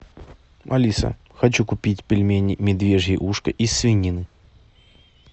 алиса хочу купить пельмени медвежье ушко из свинины